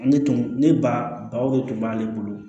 Ne tun ne baw de tun b'ale bolo